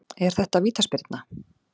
Er þetta vítaspyrna?